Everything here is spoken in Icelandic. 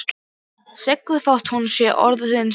Siggu þótt hún sé orðin stór.